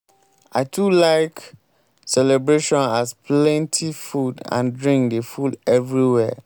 i too like celebrations as plenty food and drink dey full everywhere.